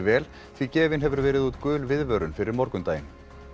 vel því gefin hefur verið út gul viðvörun fyrir morgundaginn